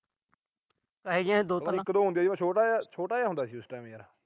ਦੋ-ਤਿੰਨ ਹੁੰਦੀਆਂ ਸੀ। ਉਦੋਂ ਛੋਟਾ ਜਿਹਾ ਹੁੰਦਾ ਸੀ ਉਸ ਟੈਮ ਯਾਰ।